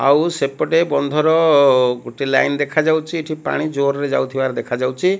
ଆଉ ସେପଟେ ବନ୍ଧର ଅ ଗୋଟେ ଲାଇନ ଦେଖାଯାଉଛି ଏଠି ପାଣି ଜୋରରେ ଯାଉଥିବାର ଦେଖାଯାଉଚି।